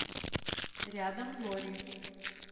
рядом лори